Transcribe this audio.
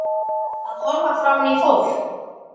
Að horfa framan í fólk.